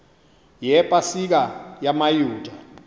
yepa sika yamayuda